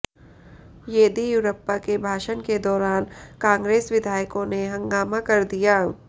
येदियुरप्पा के भाषण के दौरान कांग्रेस विधायकों ने हंगामा कर दिया